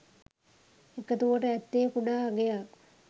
එකතුවට ඇත්තේ කුඩා අගයක්